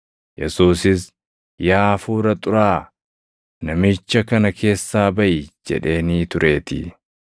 Yesuusis, “Yaa hafuura xuraaʼaa, namicha kana keessaa baʼi!” jedheenii tureetii.